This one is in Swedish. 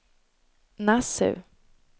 Nassau